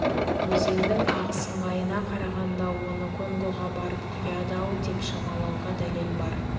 өзеннің ағыс ыңғайына қарағанда оны конгоға барып құяды-ау деп шамалауға дәлел бар